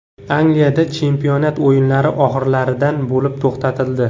Angliyada chempionat o‘yinlari oxirgilardan bo‘lib to‘xtatildi.